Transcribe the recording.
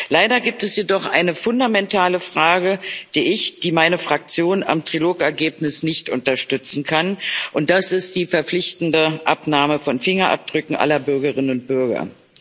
Leider gibt es jedoch eine fundamentale Frage, die ich, die meine Fraktion am Trilog Ergebnis nicht unterstützen kann das ist die verpflichtende Abnahme von Fingerabdrücken aller Bürgerinnen und Bürger.